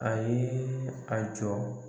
A ye a jɔ